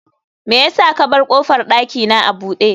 me yasa ka bar kofar dakina a bude